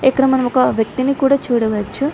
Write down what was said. ఇక్కడ మనం ఒక వ్యక్తిని కూడా చూడవచ్చు.